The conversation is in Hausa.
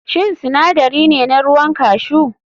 Shin sinadari ne na ruwan cashew?